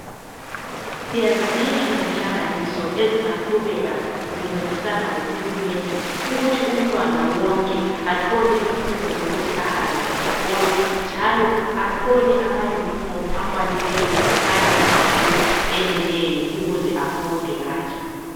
Siyazidinga izinhlanganiso ezingaqhubeka zincedisana lohulumende ukuthi umntwana wonke athole ithuba lokuthi ahambe esikolo njalo athole amayunifomu akwanileyo kanye lamamabhuku eneleyo ukuze afunde kahle.